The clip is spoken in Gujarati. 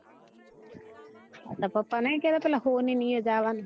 આ તાર પપ્પા નહિ કેતા પીલા સોની ને ઓય જવાનું